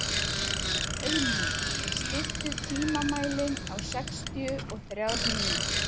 Auðný, stilltu tímamælinn á sextíu og þrjár mínútur.